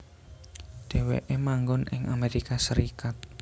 Dheweke manggon ing Amerika Serikat